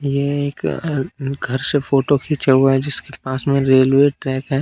ये एक अं घर से फोटो खींचा हुआ है जिसके पास में रेलवे ट्रैक है।